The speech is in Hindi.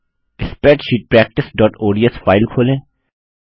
स्प्रेडशीट practiceओडीएस फाइल खोलें